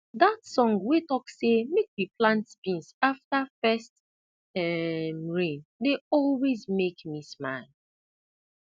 that song wey talk say make we plant beans after first um rain dey always make me smile